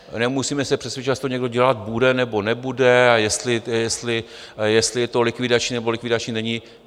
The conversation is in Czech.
Nemusíme se přesvědčovat, jestli to někdo dělat bude, nebo nebude a jestli je to likvidační nebo likvidační není.